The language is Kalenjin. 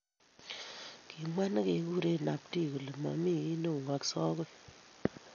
Kimwa nekeguure Namdi kole :Momii kiy neung'akse agoi